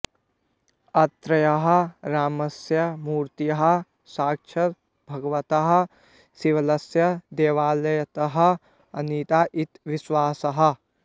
अत्रत्यः रामस्य मूर्तिः साक्षात् भगवतः शिवस्य देवालयतः आनीता इति विश्वासः